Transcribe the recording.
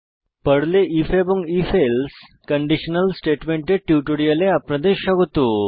পর্লে আইএফ এবং if else conditional স্টেটমেন্টের টিউটোরিয়ালে আপনাদের স্বাগত